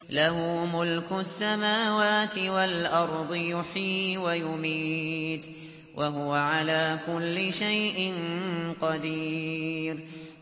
لَهُ مُلْكُ السَّمَاوَاتِ وَالْأَرْضِ ۖ يُحْيِي وَيُمِيتُ ۖ وَهُوَ عَلَىٰ كُلِّ شَيْءٍ قَدِيرٌ